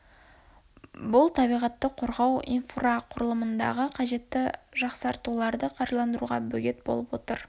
бұл табиғатты қорғау инфрақұрылымындағы қажетті жақсартуларды қаржыландыруға бөгет болып отыр